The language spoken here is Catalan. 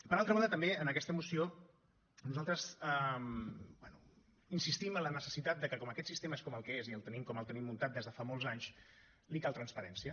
per altra banda també en aquesta moció nosaltres bé insistim en la necessitat de que com aquest sistema és com el que és i el tenim com el tenim muntat des de fa molts anys li cal transparència